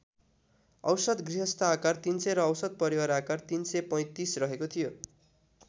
औसत गृहस्थ आकार ३०० र औसत परिवार आकार ३३५ रहेको थियो।